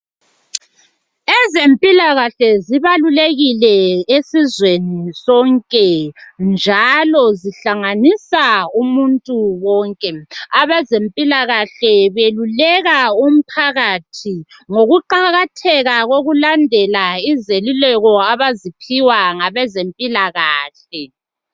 Ezempilakahle zibalulekile esizweni sonke njalo zihlanganisa umuntu wonke. Abezempilakahle beluleka umphakathi ngokuqakatheka kokulandela izeluleko abaziphiwa ngabezempilakahle.